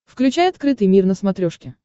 включай открытый мир на смотрешке